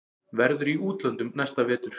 Verður í útlöndum næsta vetur.